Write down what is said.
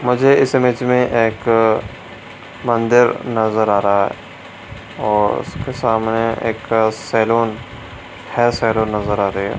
मुझे इस इमेज में एक मंदिर नजर आ रहा है। और उसके सामने एक सैलून हेयर सैलून नजर आ रही है।